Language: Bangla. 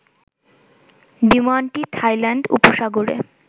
বিমানটি থাইল্যান্ড উপসাগরে